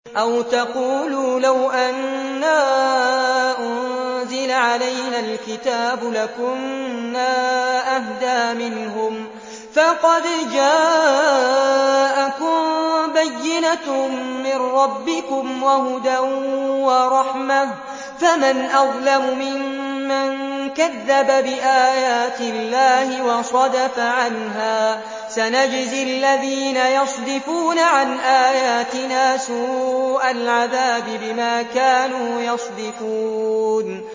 أَوْ تَقُولُوا لَوْ أَنَّا أُنزِلَ عَلَيْنَا الْكِتَابُ لَكُنَّا أَهْدَىٰ مِنْهُمْ ۚ فَقَدْ جَاءَكُم بَيِّنَةٌ مِّن رَّبِّكُمْ وَهُدًى وَرَحْمَةٌ ۚ فَمَنْ أَظْلَمُ مِمَّن كَذَّبَ بِآيَاتِ اللَّهِ وَصَدَفَ عَنْهَا ۗ سَنَجْزِي الَّذِينَ يَصْدِفُونَ عَنْ آيَاتِنَا سُوءَ الْعَذَابِ بِمَا كَانُوا يَصْدِفُونَ